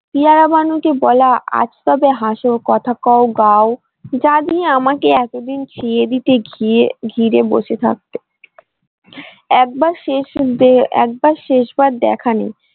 পেয়ারা বানু কে বলা আজ তবে হাসো কথা কও গাঁও যা আমাকে এতদিন দিয়ে দিতে গিয়ে ঘিরে বসে থাকতে একবার শেষ একবার শেষ বার দেখা নেই।